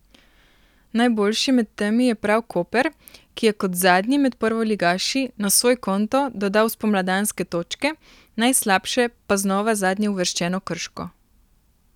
Najboljši med temi je prav Koper, ki je kot zadnji med prvoligaši na svoj konto dodal spomladanske točke, najslabše pa znova zadnjeuvrščeno Krško.